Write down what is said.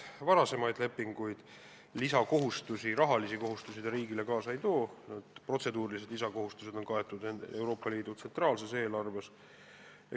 Rahalisi lisakohustusi see riigile kaasa ei too, protseduurilised lisakohustused on kaetud Euroopa Liidu tsentraalsest eelarvest.